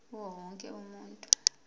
kuwo wonke umuntu